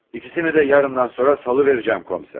İkisini də yarından sonra salıvərəcəm, komiser.